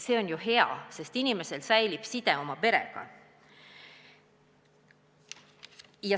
See on ju hea, sest inimesel säilib side oma perega.